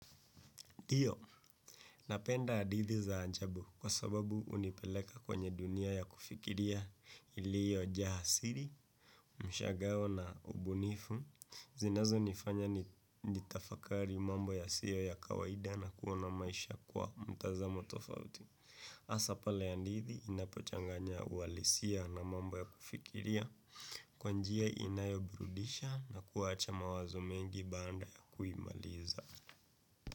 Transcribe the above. NDio, napenda hadithi za ajabu kwa sababu hunipeleka kwenye dunia ya kufikiria iliyo jaa asili, mshangao na ubunifu, zinazo nifanya nitafakari mambo yasiyo ya kawaida na kuona maisha kwa mtazamo tofauti. hAsa pale ya hadithi inapochanganya uhalisia na mambo ya kufikiria kwanjia inayoburudisha na kuwacha mawazo mengi baada ya kuimaliza.